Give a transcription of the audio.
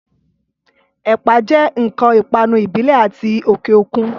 Ẹ̀pà jẹ́ ǹkan ìpanu ìbílẹ̀ àti ti òkè òkun